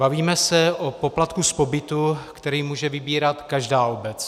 Bavíme se o poplatku z pobytu, který může vybírat každá obec.